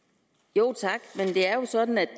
jo sådan